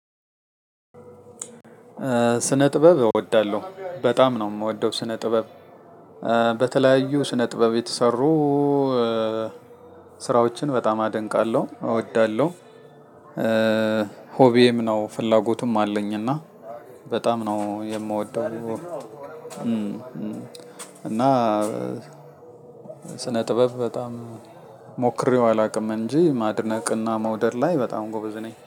ስነ ጥበብ እወዳለሁ በጣም ነው የምወደው ስነ ጥበብ በተለያዩ ስነ ጥበብ የተሰሩ ስራዎችን በጣም አደንቃለሁ እወዳለሁ። ሆቢዬም ነው ፍላጎቱም አለኝ እና በጣም ነው የምወደው። እና ስነ ጥበብ በጣም ሞክሬው አላውቅም እንጂ ማድነቅ እና መውደድ ላይ በጣም ጎበዝ ነኝ